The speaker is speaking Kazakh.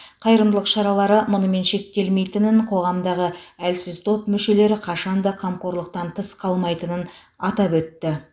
қайырымдылық шаралары мұнымен шектелмейтінін қоғамдағы әлсіз топ мүшелері қашан да қамқорлықтан тыс қалмайтынын атап өтті